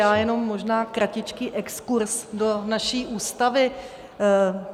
Já jenom možná kratičký exkurz do naší Ústavy.